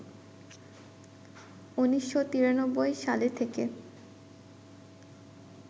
১৯৯৩ সালে থেকে